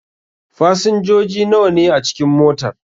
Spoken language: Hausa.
Fasinjoji nawa ne a cikin motar?